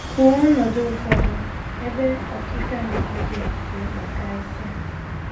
Kwuo ọnọdụ ụfọdụ ebe “ ọkịka nke ike ” dị mkpa karịsịa.